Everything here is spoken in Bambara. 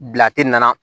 Bila tɛ nana